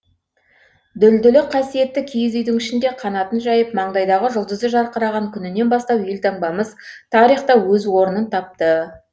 дүлдүлі қасиетті киіз үйдің ішінде қанатын жайып маңдайдағы жұлдызы жарқыраған күнінен бастап елтаңбамыз тарихта өз орын тапты